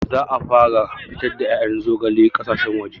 Za a fara fitar da ƴaƴan zogale ƙasashen waje